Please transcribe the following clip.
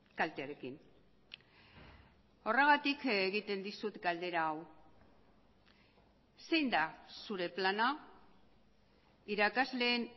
kaltearekin horregatik egiten dizut galdera hau zein da zure plana irakasleen